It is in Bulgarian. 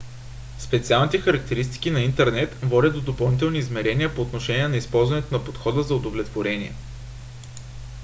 специалните характеристики на интернет водят до допълнителни измерения по отношение на използването на подхода за удовлетворение